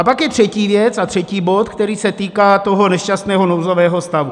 A pak je třetí věc a třetí bod, který se týká toho nešťastného nouzového stavu.